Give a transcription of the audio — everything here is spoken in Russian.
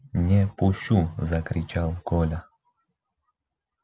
не пущу закричал коля